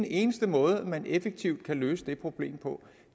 eneste måde man effektivt kan løse det problem på